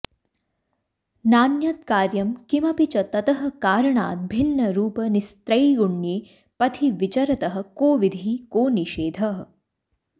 नान्यत्कार्यं किमपि च ततः कारणाद् भिन्नरूप निस्त्रैगुण्ये पथिविचरतः कोविधिः कोनिषेधः